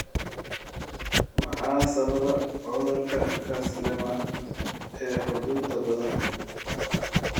Maxaa sababa cudurka Castleman ee xudunta badan leh?